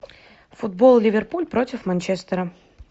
футбол ливерпуль против манчестера